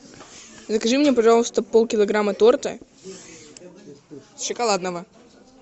закажи мне пожалуйста полкилограмма торта шоколадного